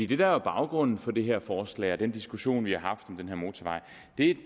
det der er baggrunden for det her forslag og den diskussion vi har haft om den her motorvej